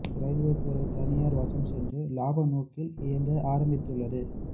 railway துறை தனியார் வசம் சென்று லாப நோக்கில் இயங்க ஆரம்பித்துள்ளது